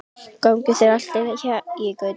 Gangi þér allt í haginn, Gauti.